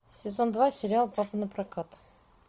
сезон два сериал папа напрокат